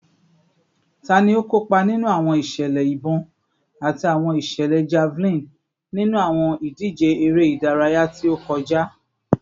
Tani o kopa ninu awọn iṣẹlẹ ibọn ati awọn iṣẹlẹ javelin ninu awọn idije ere idaraya ti o kọja?